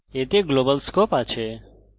এতে global scope আছে